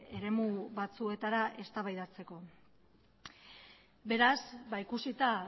eremu batzuetara eztabaidatzeko beraz ba ikusita